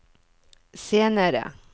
senere